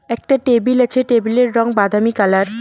একটা টেবিল আছে টেবিল -এর রং বাদামি কালার ।